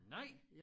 Nej!